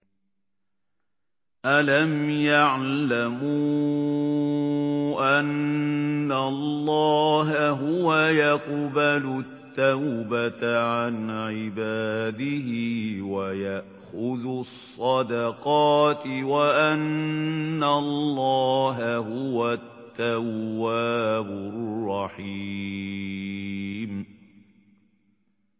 أَلَمْ يَعْلَمُوا أَنَّ اللَّهَ هُوَ يَقْبَلُ التَّوْبَةَ عَنْ عِبَادِهِ وَيَأْخُذُ الصَّدَقَاتِ وَأَنَّ اللَّهَ هُوَ التَّوَّابُ الرَّحِيمُ